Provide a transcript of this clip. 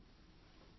ధన్యవాదాలు